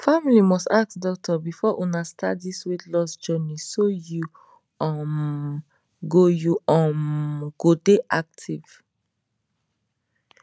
family must ask doctor before una start this weight loss journey so you um go you um go dey active